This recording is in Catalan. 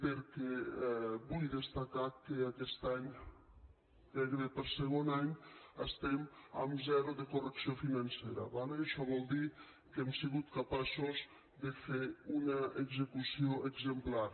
perquè vull destacar que aquest any gairebé per segon any estem amb zero de correcció financera d’acord això vol dir que hem sigut capaços de fer una execució exemplar